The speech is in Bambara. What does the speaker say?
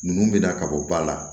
Ninnu bɛ da ka bɔ ba la